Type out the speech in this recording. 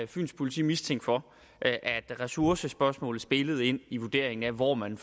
fyns politi mistænkt for at ressourcespørgsmålet spillede ind i vurderingen af hvor man